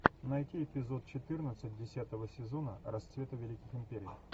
найти эпизод четырнадцать десятого сезона расцвета великих империй